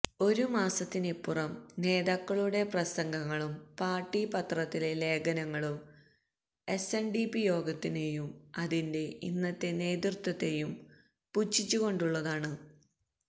ഒരു മാസത്തിനിപ്പുറം നേതാക്കളുടെ പ്രസംഗങ്ങളും പാര്ട്ടി പത്രത്തിലെ ലേഖനങ്ങളും എസ്എന്ഡിപി യോഗത്തിനെയും അതിന്റെ ഇന്നത്തെ നേതൃത്വത്തെയും പുച്ഛിച്ചുകൊണ്ടുള്ളതുമാണ്